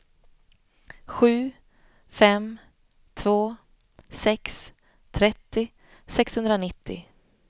sju fem två sex trettio sexhundranittio